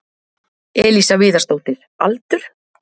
Elísa Viðarsdóttir Aldur?